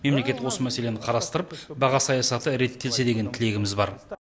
мемлекет осы мәселені қарастырып баға саясаты реттелсе деген тілегіміз бар